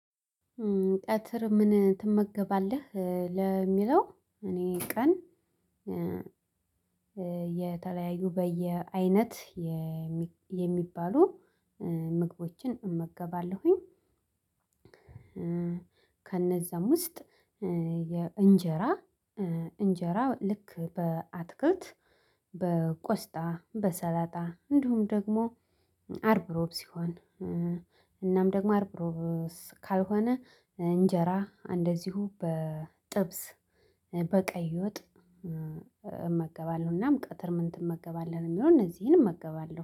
ቀትር ምን ትመገባለህ ለሚለው? እኔ ቀን የተለያዩ በየአይነት የሚባሉ ምግቦችን እመገባለሁኝ። ከነዛም ውስጥ የእንጀራ እንጀራ ልክ በአትክልት በቆስጣ በሰላጣ እንዲሁም ደግሞ አርብሮብ ሲሆን እናም ደግሞ አርብሮብ ካልሆነ እንጀራ እንደዚሁ በጥብስ በቀይ ወጥ እመገባለሁናም። እናም ቀትር ምን ትመገባለህ የሚለውን እነዚህን እመገባለሁ